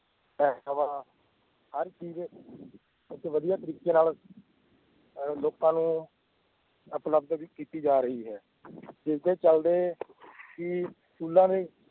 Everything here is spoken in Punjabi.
ਹਰ ਚੀਜ਼ ਇੱਥੇ ਵਧੀਆ ਤਰੀਕੇ ਨਾਲ ਅਹ ਲੋਕਾਂ ਨੂੰ ਉਪਲਬਧ ਵੀ ਕੀਤੀ ਜਾ ਰਹੀ ਹੈ ਜਿਸਦੇ ਚੱਲਦੇ ਕਿ ਸਕੂਲਾਂ